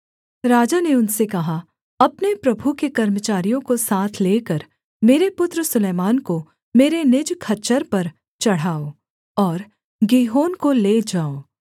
राजा ने उनसे कहा अपने प्रभु के कर्मचारियों को साथ लेकर मेरे पुत्र सुलैमान को मेरे निज खच्चर पर चढ़ाओ और गीहोन को ले जाओ